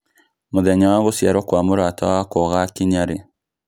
mũthenya wa gũciarũo kwa mũrata wakwa gũgakinya rĩ